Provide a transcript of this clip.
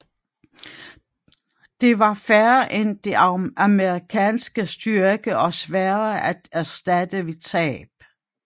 De var færre end de amerikanske styrker og sværere at erstatte ved tab